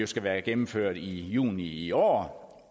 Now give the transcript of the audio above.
skal være gennemført i juni i år